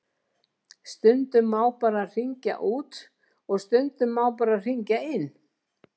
Stundum má bara hringja út og stundum má bara hringja inn.